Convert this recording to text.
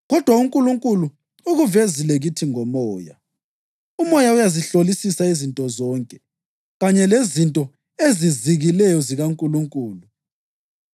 kodwa uNkulunkulu ukuvezile kithi ngoMoya. UMoya uyazihlolisisa izinto zonke, kanye lezinto ezizikileyo zikaNkulunkulu.